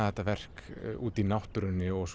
þetta verk úti í náttúrunni og